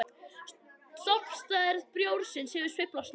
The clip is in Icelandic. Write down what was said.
Stofnstærð bjórsins hefur sveiflast mikið.